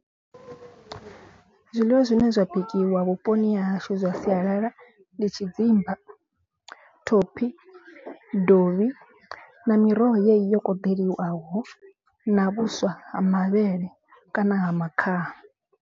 Zwiḽiwa zwine zwa bikiwa vhuponi ha hashu zwa sialala. Ndi tshidzimba, thophi, dovhi na miroho yeneyi yo koḓeliwaho na vhuswa ha mavhele kana ha makhaha.